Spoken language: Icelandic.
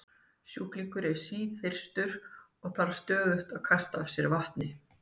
sjúklingur er síþyrstur og þarf stöðugt að kasta af sér vatni